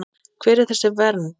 Hver er þessi vernd?